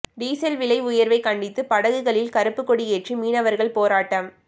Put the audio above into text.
diesel விலை உயா்வை கண்டித்து படகுகளில் கருப்புக் கொடியேற்றி மீனவா்கள் போராட்டம்